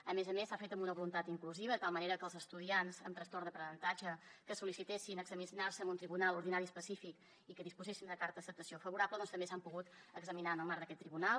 a més a més s’ha fet amb una voluntat inclusiva de tal manera que els estudiants amb trastorn d’aprenentatge que van sol·licitar examinar se en un tribunal ordinari específic i que disposaven de carta d’acceptació favorable també s’hagin pogut examinar en el marc d’aquest tribunal